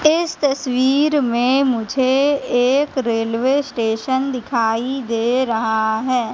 इस तस्वीर में मुझे एक रेलवे स्टेशन दिखाई दे रहा हैं।